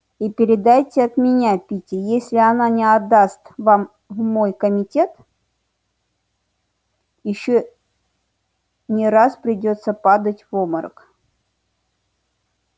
и передайте от меня питти если она не отдаст вам в мой комитет ещё не раз придётся падать в обморок